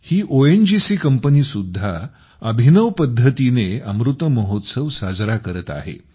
ही ONGC कंपनीसुद्धा अभिनव पद्धतीनेअ मृत महोत्सव साजरा करत आहे